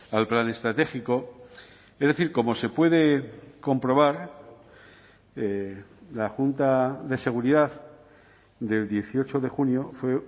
al plan estratégico es decir como se puede comprobar la junta de seguridad del dieciocho de junio fue